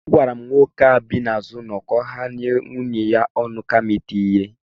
Agwara m nwoke ahụ bi n'azụ ụlọ ka ọ ghela nwunye ya ọnụ kama iti ya ihe